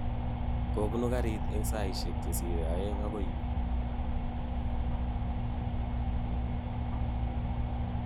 Kobunu garit eng saishek chesire aeng okoi yu.